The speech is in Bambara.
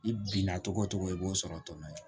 I binna togo togo i b'o sɔrɔ tɔnɔ ye